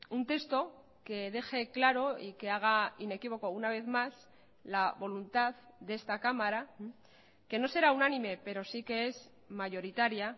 un texto que deje claro y que haga inequívoco una vez más la voluntad de esta cámara que no será unánime pero sí que es mayoritaria